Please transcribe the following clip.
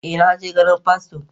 eh, na je ganin fasto